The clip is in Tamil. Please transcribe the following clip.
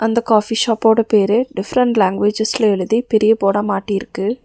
இந்த காஃபி ஷாப்போட பேரு டிஃபரண்ட் லாங்குவேஜஸ்ல எழுதி பெரிய போர்டா மாட்டியிருக்கு.